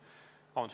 Vabandust!